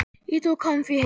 Ég tók hann því heim.